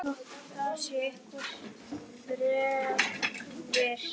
Askur Yggdrasils drýgir erfiði meira en menn viti